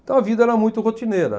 Então a vida era muito rotineira.